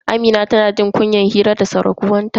Amina tana jin kunyan hira da surkuwanta.